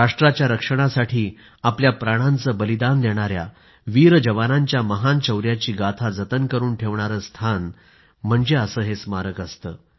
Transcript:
राष्ट्राच्या रक्षणासाठी आपल्या प्राणांचे बलिदान देणाया वीर जवानांच्या महान शौर्याची गाथा जतन करून ठेवणारं स्थान म्हणजे असे हे स्मारक असते